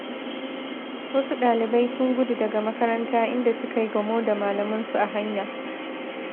Wasu ɗalibai sun gudu daga makaranta inda suka yi gamo da malaman su a hanya.